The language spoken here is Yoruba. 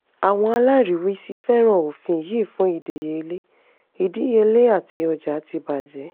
àwọn alariwisi fẹ́ràn ofin yìí fún idiyele idiyele ati ọja tí bajẹ.